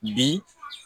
Bi